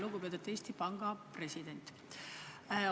Lugupeetud Eesti Panga president!